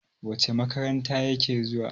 wacece makaranta yake zuwa?